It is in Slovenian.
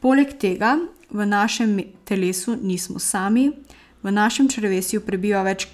Poleg tega v našem telesu nismo sami, v našem črevesju prebiva več